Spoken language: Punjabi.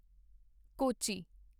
ਕੋਚੀ